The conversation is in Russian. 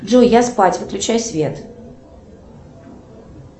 джой я спать выключай свет